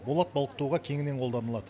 болат балқытуға кеңінен қолданылады